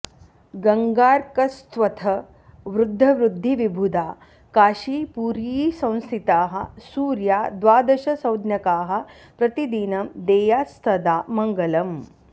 गङ्गार्कस्त्वथ वृद्धवृद्धिविबुधा काशीपुरीसंस्थिताः सूर्या द्वादशसंज्ञकाः प्रतिदिनं देयात्सदा मङ्गलम्